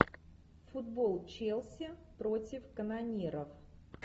футбол челси против канониров